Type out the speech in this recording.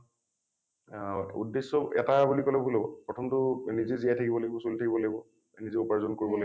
অ উদ্দেশ্য এটা বুলি কলে ভুল হব । প্ৰথমটো নিজে জীয়াই থাকিব লাগিব চলি থাকিব লাগিব , নিজে উপাৰ্জন কৰিব লাগিব।